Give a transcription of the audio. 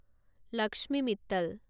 Lakshmi Mittal